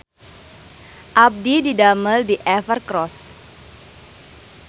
Abdi didamel di Evercross